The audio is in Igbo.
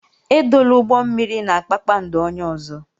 Edola ụgbọ mmiri na kpakpando onye ọzọ.